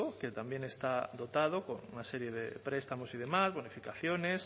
que también está dotado con una serie de prestamos y demás bonificaciones